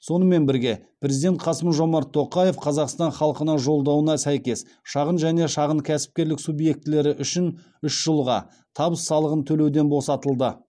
сонымен бірге президент қасым жомарт тоқаев қазақстан халқына жолдауына сәйкес шағын және шағын кәсіпкерлік субъектілері үш жылға табыс салығын төлеуден босатылды